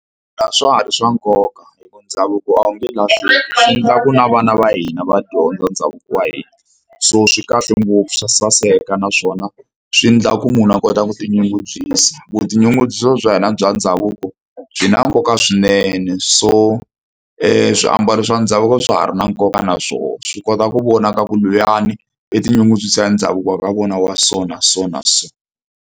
A swa ha ri swa nkoka hi ku ndhavuko a wu nge lahleki swi endla ku na vana va hina va dyondza ndhavuko wa hina so swi kahle ngopfu swa saseka naswona swi endla ku munhu a kota ku tinyungubyisa. Vutinyungubyisi bya hina bya ndhavuko byi na nkoka swinene so swiambalo swa ndhavuko swa ha ri na nkoka na swo swi kota ku vona ka ku luyani i tinyungubyisa ndhavuko wa ka vona wa so na so na so.